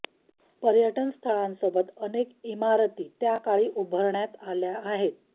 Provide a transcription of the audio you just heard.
पर्यटन स्थळांसोबत अनेक इमारती त्या काळी उभारण्यात आलेल्या आहेत